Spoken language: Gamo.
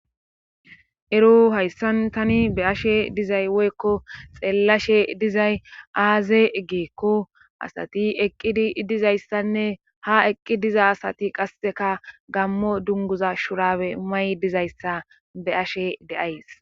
Ero hayssantani be ashe dizay woykko xeellashe dizay aaze geekko asati eqqidi dizayssanne ha eqqi diza asati qasseka gammo dunguza shurawe may dizayssa be ashe deays.